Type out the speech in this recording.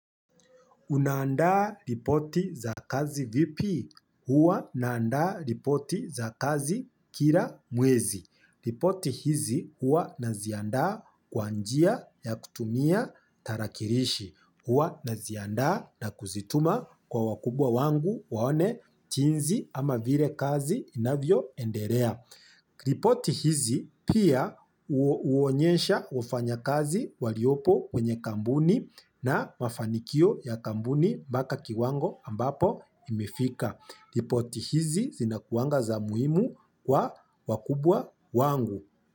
Unaandaa ripoti za kazi vipi? Hua naandaa ripoti za kazi kila mwezi. Ripoti hizi hua naziandaa kwa njia ya kutumia tarakilishi. Hua naziandaa na kuzituma kwa wakubwa wangu waone jinsi ama vile kazi inavyo endelea. Ripoti hizi pia huonyesha wafanyakazi waliopo kwenye kampuni na mafanikio ya kampuni mpaka kiwango ambapo imefika. Ripoti hizi zinakuanga za muhimu kwa wakubwa wangu.